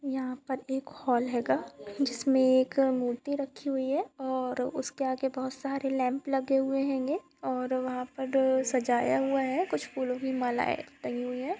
यहाँ पर एक हॉल हेंगा जिसमे एक मूर्ति रखी हुई है और उसके आगे बहुत सारे लैम्प लगे हुए हेंगे और वहा पर सजाया हुआ है कुछ फूलो की माला टंगी हुयी है।